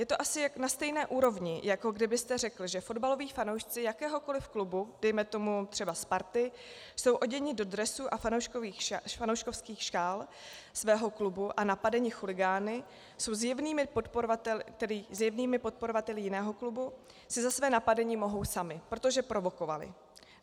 Je to asi na stejné úrovni, jako kdybyste řekl, že fotbaloví fanoušci jakéhokoliv klubu, dejme tomu třeba Sparty, jsou oděni do dresů a fanouškovských šál svého klubu a napadeni chuligány, tedy zjevnými podporovateli jiného klubu, si za své napadení mohou sami, protože provokovali.